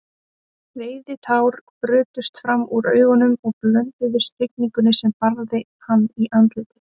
Reiðitár brutust fram úr augunum og blönduðust rigningunni sem barði hann í andlitið.